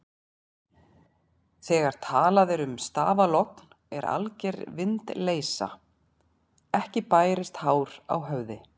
Þegar talað er um stafalogn er alger vindleysa, ekki bærist hár á höfði.